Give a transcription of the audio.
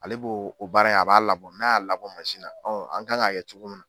Ale b'o baara in a b'a labɔ n'a y'a labɔ mansi na ɔn an kan k'a kɛ cogo min na